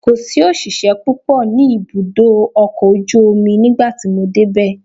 Kò sí òṣìṣẹ́ púpọ̀ ní ibùdó ọkọ̀ ojú omi nígbà tí mo dé bẹ̀.